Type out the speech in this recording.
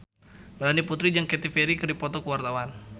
Melanie Putri jeung Katy Perry keur dipoto ku wartawan